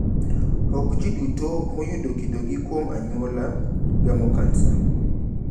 Okjiduto moyudo kido gi kowuok kuom anyuola gamo kansa.